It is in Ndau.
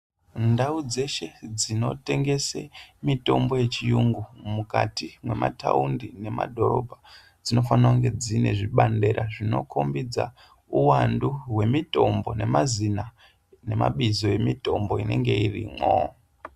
Ndau dzeshe dzinotengese mitombo yechiyungu mukati mwemataundi nemadhorobha dzinofanira kunge dzine zvibandira zvinokombidze uwandu hwemutombo nemazina nemabizo emitombo inenge irimwo.